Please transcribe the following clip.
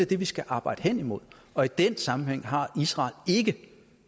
det vi skal arbejde hen imod og i den sammenhæng har israel ikke det